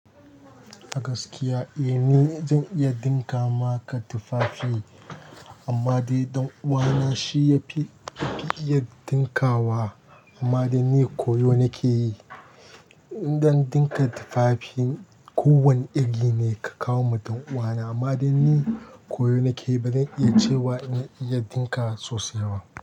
Agaskiya, eh ni zan iya ɗinka maka tufafi amma dai ɗan uwana shi yafi iya ɗinka wa amma dai ni koyo nake yi. Dan ɗinka tufafi kowane iri ne ka kawo ma ɗan uwa na amma dai ni koyo nake yi bazan iya cewa ina iya ɗinka sosai ba.